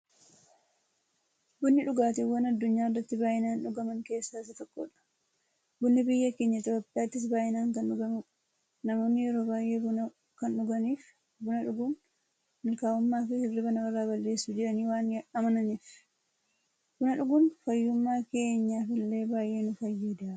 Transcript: Bunni dhugaatiiwwan addunyaarratti baay'inaan dhugaman keessaa isa tokkodha. Bunni biyya keenya Itiyoophiyaattis baay'inaan kan dhugamuudha. Namoonni yeroo baay'ee buna kan dhuganiif, buna dhuguun mukaa'ummaafi hirriiba namarraa balleessa jedhanii waan amananiifi. Buna dhuguun fayyummaa keenyaf illee baay'ee nu fayyada.